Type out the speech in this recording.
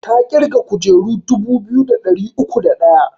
Ta ƙirga kujeru dubu biyu da ɗari uku da ɗaya